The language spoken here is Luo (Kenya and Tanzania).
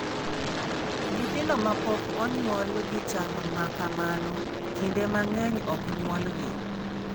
Nyithindo mapok onyuol gi chal ma kamano kinde mang'eny ok nyuolgi.